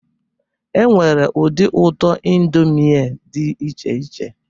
Enwere ụdị ụtọ indomie dị iche iche